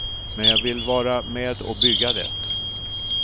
Men jag vill vara med och bygga det.